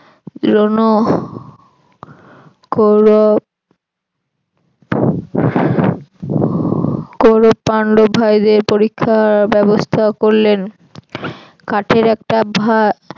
দ্রোণ কৌরব কৌরব পান্ডব ভাইদের পরীক্ষার ব্যবস্থা করলেন কাঠের একটা ভার